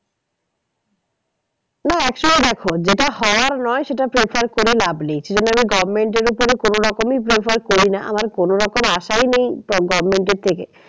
না actually দেখো যেটা হওয়ার নয় সেটা prefer করে লাভ নেই। সেইজন্য government এর ওপরে কোনো রকমই prefer করি না আমার কোনো রকম আশাই নেই government এর থেকে